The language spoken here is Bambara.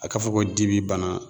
A k'a fɔ ko di bi bana